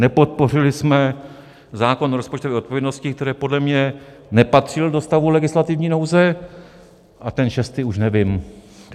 Nepodpořili jsme zákon o rozpočtové odpovědnosti, který podle mě nepatřil do stavu legislativní nouze, a ten šestý už nevím.